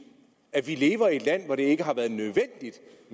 at vi lever i et land hvor det ikke har været nødvendigt